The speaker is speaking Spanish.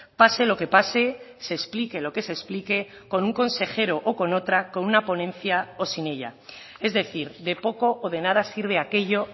pase lo que pase se explique lo que se explique con un consejero o con otra con una ponencia o sin ella es decir de poco o de nada sirve aquello